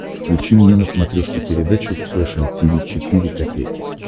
включи мне на смотрешке передачу фэшн ти ви четыре ка